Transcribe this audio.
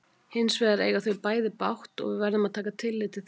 Hins vegar eiga þau bæði bágt og við verðum að taka tillit til þess.